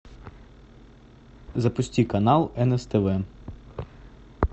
запусти канал нс тв